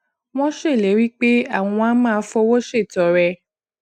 wón ṣèlérí pé àwọn á máa fowó ṣètọrẹ